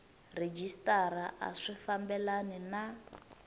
rhejisitara a swi fambelani na